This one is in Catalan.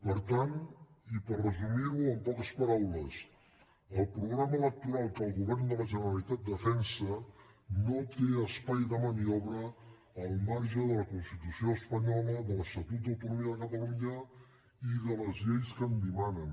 per tant i per resumir ho en poques paraules el programa electoral que el govern de la generalitat defensa no té espai de maniobra al marge de la constitució espanyola de l’estatut d’autonomia de catalunya i de les lleis que en dimanen